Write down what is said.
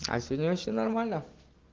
а сегодня вообще нормально